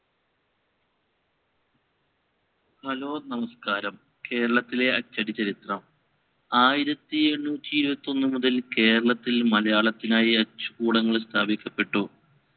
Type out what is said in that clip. hello നമസ്‌കാരം കേരളത്തിലെ അച്ചടി ചരിത്രം ആയിരത്തി എണ്ണൂറ്റി ഇരുപത്തി ഒന്ന് മുതൽ കേരളത്തിൽ മലയാളത്തിനായി അച്ചുകൂടങ്ങൾ സ്ഥാപിക്കപ്പെട്ടു